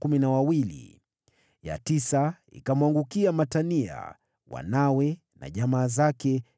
ya tisa ikamwangukia Matania, wanawe na jamaa zake, 12